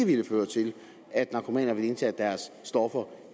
det ikke føre til at narkomaner ville indtage deres stoffer